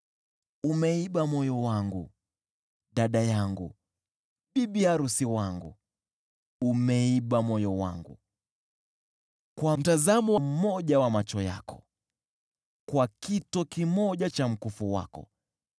Umeiba moyo wangu, dada yangu, bibi arusi wangu; umeiba moyo wangu kwa mtazamo mmoja wa macho yako, kwa kito kimoja cha mkufu wako.